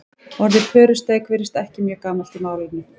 orðið pörusteik virðist ekki mjög gamalt í málinu